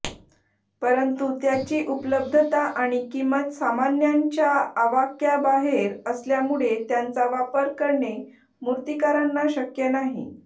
परंतु त्याची उपलब्धता आणि किंमत सामान्यांच्या आवाक्याबाहेर असल्यामुळे त्यांचा वापर करणे मूर्तिकारांना शक्य नाही